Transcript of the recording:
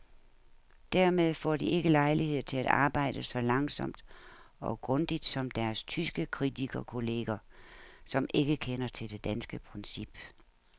Dermed får de ikke lejlighed til at arbejde så langsomt og grundigt som deres tyske kritikerkolleger, som ikke kender til det danske princip.